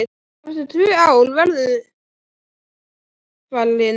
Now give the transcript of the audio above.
Eftir tvö ár verður hann alfarinn.